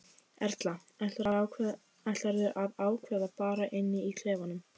Erla: Ætlarðu að ákveða bara inni í klefanum?